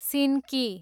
सिन्की